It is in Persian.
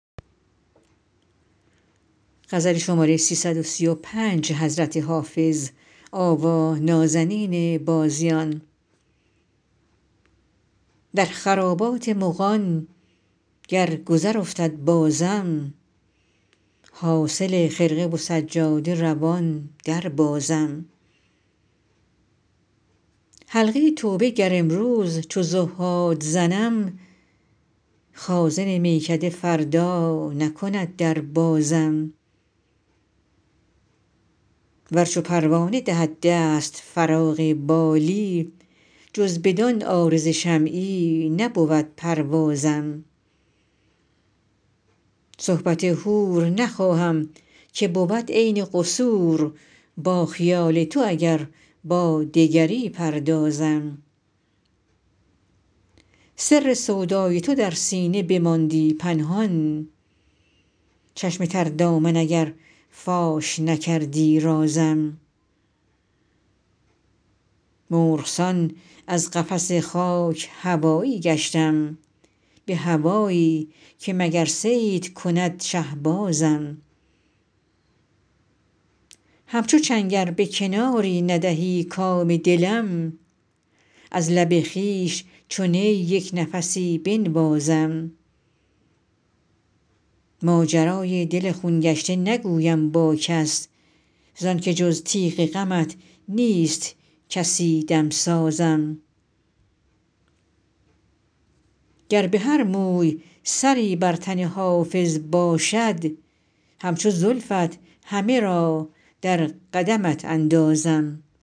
در خرابات مغان گر گذر افتد بازم حاصل خرقه و سجاده روان دربازم حلقه توبه گر امروز چو زهاد زنم خازن میکده فردا نکند در بازم ور چو پروانه دهد دست فراغ بالی جز بدان عارض شمعی نبود پروازم صحبت حور نخواهم که بود عین قصور با خیال تو اگر با دگری پردازم سر سودای تو در سینه بماندی پنهان چشم تر دامن اگر فاش نکردی رازم مرغ سان از قفس خاک هوایی گشتم به هوایی که مگر صید کند شهبازم همچو چنگ ار به کناری ندهی کام دلم از لب خویش چو نی یک نفسی بنوازم ماجرای دل خون گشته نگویم با کس زان که جز تیغ غمت نیست کسی دمسازم گر به هر موی سری بر تن حافظ باشد همچو زلفت همه را در قدمت اندازم